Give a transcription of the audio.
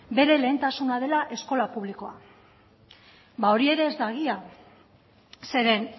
bere lehentasuna dela eskola publikoak hori ere ez da egia zeren